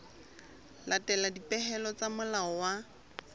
latela dipehelo tsa molao wa